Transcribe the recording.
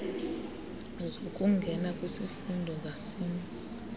zokungena kwisifundo ngasinye